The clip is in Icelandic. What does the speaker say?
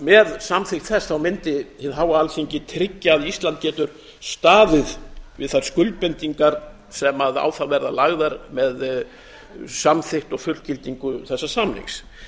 með samþykkt þess mundi hið háa alþingi tryggja að ísland getur staðið við þær skuldbindingar sem á það verða lagðar með samþykkt og fullgildingu þessa samnings